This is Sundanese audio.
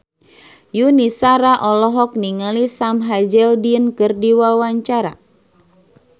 Yuni Shara olohok ningali Sam Hazeldine keur diwawancara